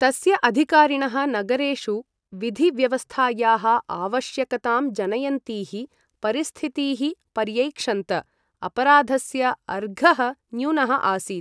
तस्य अधिकारिणः नगरेषु विधि व्यवस्थायाः आवश्यकतां जनयन्तीः परिस्थितीः पर्यैक्षन्त, अपराधस्य अर्घः न्यूनः आसीत्।